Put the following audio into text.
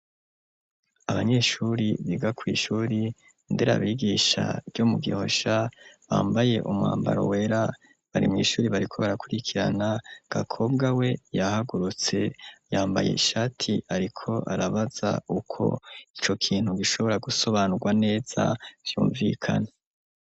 Abanyeshure biga ku ishure ndera abigisha ryo mu gihosha bambaye umwambaro wera bari mw'ishuer bariko barakurikirana Gakobwa we yahagurutse yambaye ishati ariko arabaza uko ico kintu gishobora gusobanurwa neza vyumvikana.